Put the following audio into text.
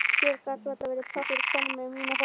Hér gat varla verið pláss fyrir konu með mína fortíð.